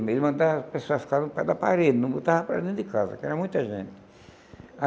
Ele mandava as pessoas ficarem no pé da parede, não botava para dentro de casa, que era muita gente.